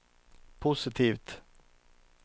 positivt